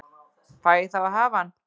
Fæ ég þá að hafa hann?